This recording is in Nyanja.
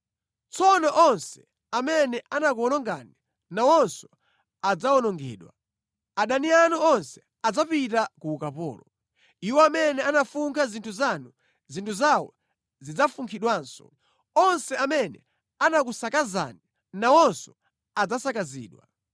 “Tsono onse amene anakuwonongani, nawonso adzawonongedwa; adani anu onse adzapita ku ukapolo. Iwo amene anafunkha zinthu zanu, zinthu zawo zidzafunkhidwanso; onse amene anakusakazani nawonso adzasakazidwa.